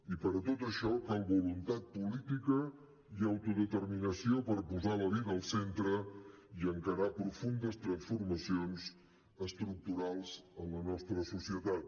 i per a tot això cal voluntat política i autodeterminació per posar la vida al centre i encarar profundes transformacions estructurals en la nostra societat